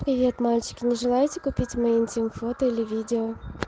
вот мальчики нажимайте купить моё интим фото или видео